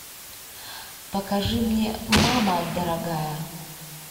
покажи мне мама дорогая